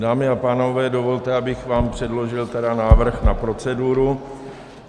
Dámy a pánové, dovolte, abych vám předložil tedy návrh na proceduru.